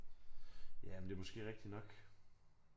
Jamen det er måske rigtigt nok